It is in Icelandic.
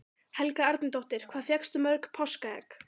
Helga Arnardóttir: Hvað fékkstu mörg páskaegg?